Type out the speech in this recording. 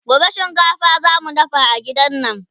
gobe shinkafa zamu dafa a gidan nan